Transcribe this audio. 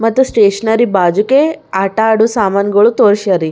ಮತ್ತ್ ಸ್ಟೇಷನರಿ ಬಾಜುಕೆ ಆಟ ಆಡು ಸಾಮಾನುಗಳು ತೋಳಷ್ಯರಿ.